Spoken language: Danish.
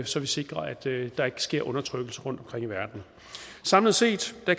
så vi sikrer at der ikke sker undertrykkelse rundtomkring i verden samlet set